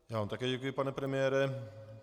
Já vám také děkuji, pane premiére.